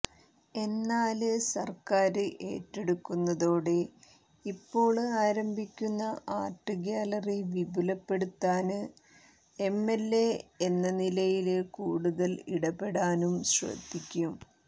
എന്നാല് സര്ക്കാര് ഏറ്റെടുക്കുന്നതോടെ ഇപ്പോള് ആരംഭിക്കുന്ന ആര്ട്ട് ഗ്യാലറി വിപുലപ്പെടുത്താന് എംഎല്എ എന്നനിലയില് കൂടുതല് ഇടപെടാനും ശ്രദ്ധിക്കും